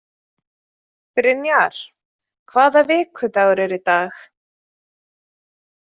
Brynjar, hvaða vikudagur er í dag?